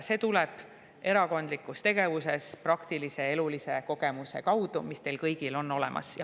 See tuleb erakondlikus tegevuses praktilise, elulise kogemuse kaudu, see on teil kõigil olemas.